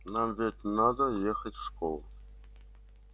нам ведь надо ехать в школу